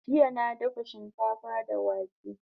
Jjya na dafa shikafa da wake